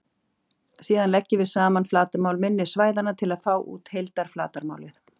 Síðan leggjum við saman flatarmál minni svæðanna til að fá út heildarflatarmálið.